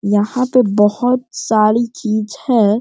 यहाँ पे बहुत सारी चीज़ है |